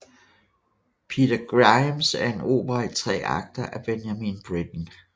Peter Grimes er en opera i tre akter af Benjamin Britten